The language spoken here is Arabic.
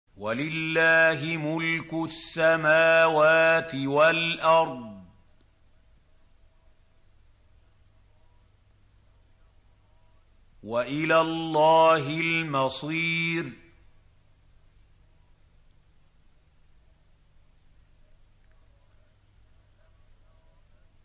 وَلِلَّهِ مُلْكُ السَّمَاوَاتِ وَالْأَرْضِ ۖ وَإِلَى اللَّهِ الْمَصِيرُ